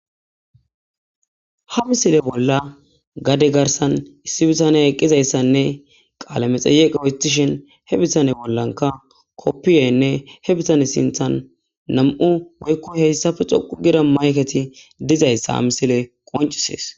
Ha missile bola gade garsan issi bitaney eqizaysanne qale medheyeqe otishen he bitane bolaka kopiyenne he bitane sintan woyko heysape dhoqu gida mayketi dizaysa ha missilezi qonc'ises.